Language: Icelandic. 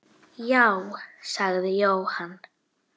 Já, sagði Jóhann.